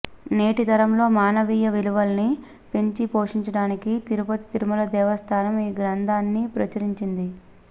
నేటి తరంలో మానవీయ విలువల్ని పెంచి పోషించడానికి తిరుపతి తిరుమల దేవస్థానం ఈ గ్రంథాన్ని ప్రచురిందింది